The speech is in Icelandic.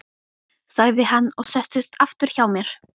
sagði hann og settist aftur hjá mér.